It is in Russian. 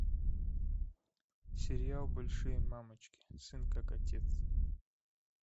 сериал большие мамочки сын как отец